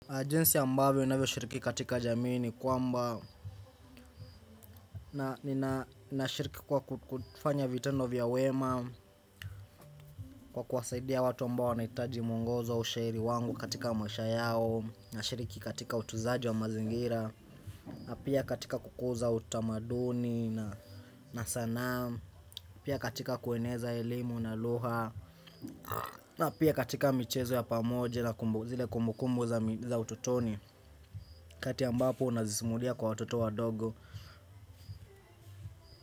Ajinsi yambavio navyo shiriki katika jamini kwamba na nina shiriki kwa kufanya vitendo vya wema. Kwa kuwasaidia watu ambao wanaitaji mwongozo ushairi wangu katika maisha yao. Na shiriki katika utunzaji wa mazingira. Na pia katika kukuza utamaduni na sana. Pia katika kueneza elimu na luha. Na pia katika michezo ya pamoja na kumbu zile kumbu kumbu za ututoni kati ambapo unazisimulia kwa watoto wadogo.